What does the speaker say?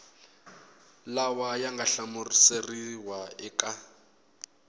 lawa ya nga hlamuseriwa eka